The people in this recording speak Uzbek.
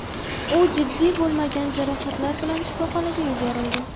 U jiddiy bo‘lmagan jarohatlar bilan shifoxonaga yuborildi.